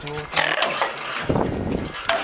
плотно засел собака